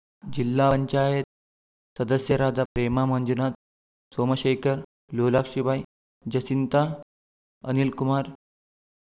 ಜಿಲ್ಲಾಪಂಚಾಯತ್ ಸದಸ್ಯರಾದ ಪ್ರೇಮಾ ಮಂಜುನಾಥ್‌ ಸೋಮಶೇಖರ್‌ ಲೋಲಾಕ್ಷಿಬಾಯಿ ಜಸಿಂತಾ ಅನಿಲ್‌ಕುಮಾರ್‌